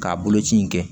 K'a boloci in kɛ